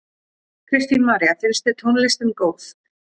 Kristín María: Finnst þér tónlistin góð?